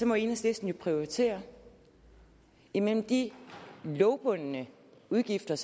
må enhedslisten jo prioritere imellem de lovbundne udgifter